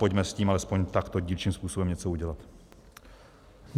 Pojďme s tím alespoň takto dílčím způsobem něco udělat.